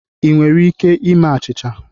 Ị nwere ike ime achịcha?